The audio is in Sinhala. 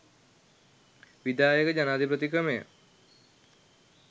විධායක ජනාධිපති ක්‍රමය